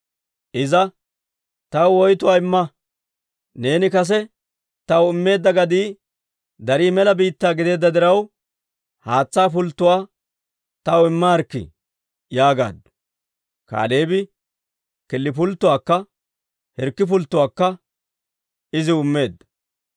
Iza, «Taw woytuwaa imma. Neeni kase taw immeedda gadii darii mela biittaa gideedda diraw, haatsaa pulttotuwaa taw immaarikkii» yaagaaddu. Kaaleebi killi pulttuwaakka hirkki pulttuwaakka iziw immeedda.